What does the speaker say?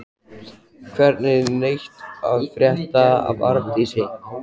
Hvergi neitt að frétta af Arndísi.